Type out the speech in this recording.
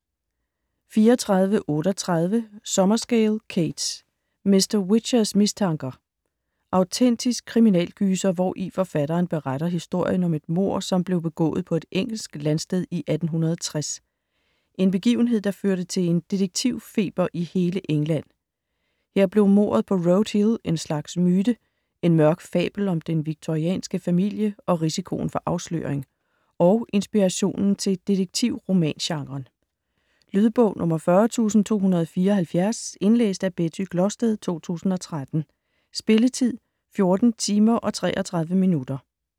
34.38 Summerscale, Kate: Mr Whichers mistanker Autentisk kriminalgyser hvori forfatteren beretter historien om et mord som blev begået på et engelsk landsted i 1860. En begivenhed der førte til en "detektivfeber" i hele England. Her blev mordet på Road Hill en slags myte - en mørk fabel om den victorianske familie og risikoen for afsløring. Og inspirationen til detektivromangenren. Lydbog 40274 Indlæst af Betty Glosted, 2013. Spilletid: 14 timer, 33 minutter.